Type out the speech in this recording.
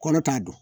Kɔrɔ t'a don